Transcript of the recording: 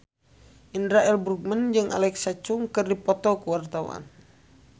Indra L. Bruggman jeung Alexa Chung keur dipoto ku wartawan